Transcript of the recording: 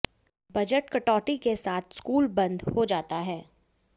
budget कटौती के साथ स्कूल बंद हो जाता है